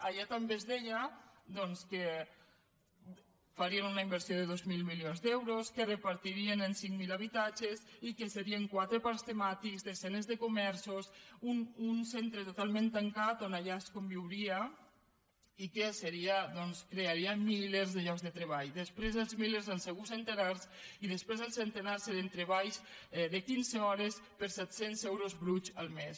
allà també es deia doncs que farien una inversió de dos mil milions d’euros que repartirien en cinc mil habitatges i que serien quatre parcs temàtics desenes de comerços un centre totalment tancant on allà es conviuria i que doncs crearia milers de llocs de treball després els milers han sigut centenars i després els centenars eren treballs de quinze hores per set cents euros bruts el mes